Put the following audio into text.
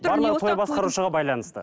барлығы той басқарушыға байланысты